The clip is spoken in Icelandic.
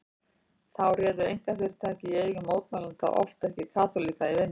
Þá réðu einkafyrirtæki í eigu mótmælenda oft ekki kaþólikka í vinnu.